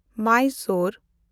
Mysore